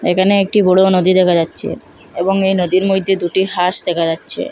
এখানে একটি বড়ো নদী দেখা যাচ্ছে এবং এই নদীর মইধ্যে দুটি হাঁস দেখা যাচ্ছে।